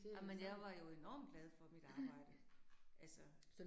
Ej men jeg var jo enormt glad for mit arbejde. Altså